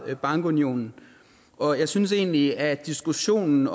bankunionen og jeg synes egentlig at diskussionen